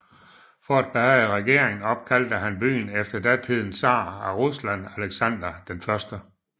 For at behage regeringen opkaldte han byen efter datidens tsar af Rusland Alexander 1